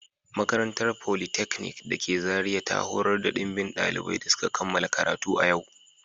Makarantar politeknik da ke Zaria ta horar da dimbin daliban da suka kammala karatu a yau